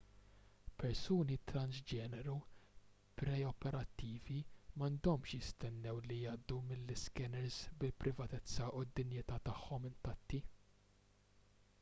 persuni transġeneru pre-operattivi m'għandhomx jistennew li jgħaddu mill-iskeners bil-privatezza u d-dinjità tagħhom intatti